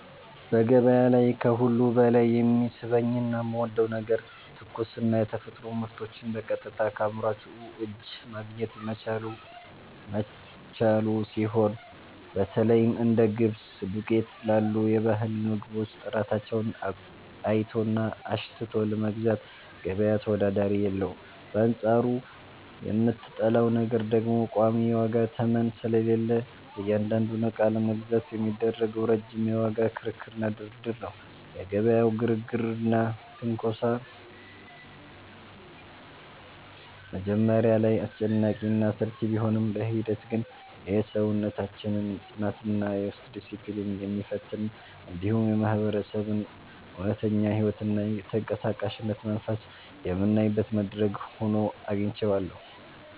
በገበያ ላይ ከሁሉ በላይ የሚስበኝና የምወደው ነገር ትኩስና የተፈጥሮ ምርቶችን በቀጥታ ከአምራቹ እጅ ማግኘት መቻሉ ሲሆን፣ በተለይም እንደ ገብስ ዱቄት ላሉ የባህል ምግቦች ጥራታቸውን አይቶና አሽትቶ ለመግዛት ገበያ ተወዳዳሪ የለውም፤ በአንጻሩ የምጠላው ነገር ደግሞ ቋሚ የዋጋ ተመን ስለሌለ እያንዳንዱን ዕቃ ለመግዛት የሚደረገው ረጅም የዋጋ ክርክርና ድርድር ነው። የገበያው ግርግርና ትንኮሳ መጀመሪያ ላይ አስጨናቂና አሰልቺ ቢሆንም፣ በሂደት ግን የሰውነታችንን ጽናትና የውስጥ ዲስፕሊን የሚፈትን፣ እንዲሁም የማህበረሰቡን እውነተኛ ሕይወትና የተንቀሳቃሽነት መንፈስ የምናይበት መድረክ ሆኖ አግኝቼዋለሁ።